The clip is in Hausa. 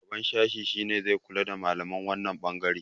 shugaban sashi shi ne zai kula da malaman wannan bangare